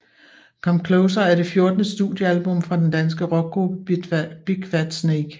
Come Closer er det fjortende studiealbum fra danske rockgruppe Big Fat Snake